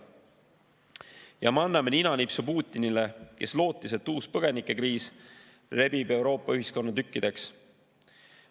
Ja me anname ninanipsu Putinile, kes lootis, et uus põgenikekriis rebib Euroopa ühiskonna tükkideks.